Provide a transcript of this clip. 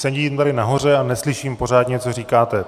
Sedím tady nahoře a neslyším pořádně, co říkáte.